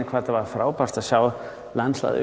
hvað þetta var frábært að sjá landslagið